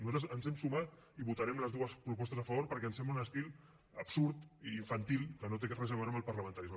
nosaltres ens hi hem sumat i votarem les dues propostes a favor perquè ens sembla un estil absurd i infantil que no té res a veure amb el parlamentarisme